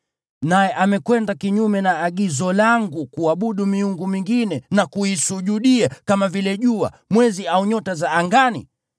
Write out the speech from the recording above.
naye amekwenda kinyume na agizo langu kuabudu miungu mingine na kuisujudia, kama vile jua, mwezi au nyota za angani,